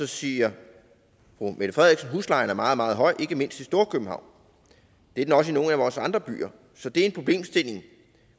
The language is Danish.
sige huslejen er meget meget høj ikke mindst i storkøbenhavn det er den også i nogle af vores andre byer så det er en problemstilling